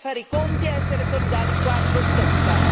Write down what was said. Impariamo a fare i conti e a essere solidali quando tocca!